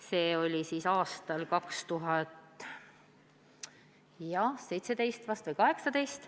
See oli aastal 2017 või juba 2018.